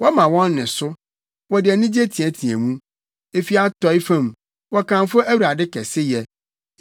Wɔma wɔn nne so, wɔde anigye teɛteɛ mu; efi atɔe fam, wɔkamfo Awurade kɛseyɛ.